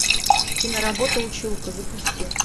киноработа училка запусти